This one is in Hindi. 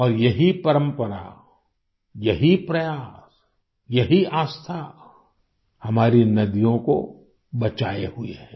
और यही परंपरा यही प्रयास यही आस्था हमारी नदियों को बचाए हुए है